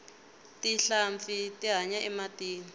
tinhlampfi ti hanya ematini